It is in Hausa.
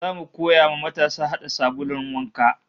Zamu koya wa matasa hada sabulun wanka